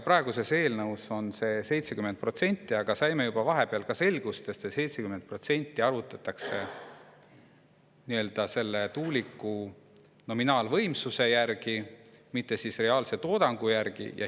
Praeguses eelnõus on see 70%, aga saime vahepeal selgust, et see 70% arvutatakse selle tuuliku nominaalvõimsuse järgi, mitte reaalse toodangu järgi.